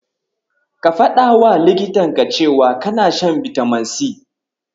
Ka faɗawa likitanka cewa kana shan bitamin C.